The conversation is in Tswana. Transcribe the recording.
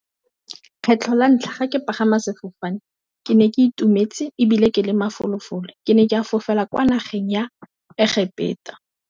Kgetlho la ntlha ke pagama sefofane ke ne ke itumetse e bile ke le mafolofolo, ke ne ke fofela kwa nageng ya Egepetwa.